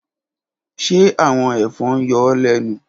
Ṣe awọn efon n yọ ọ lẹnu?